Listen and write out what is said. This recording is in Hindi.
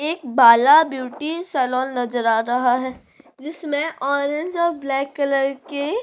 एक बाला ब्यूटी सलोन नज़र आ रहा है जिसमें ऑरेंज और ब्लैक कलर के --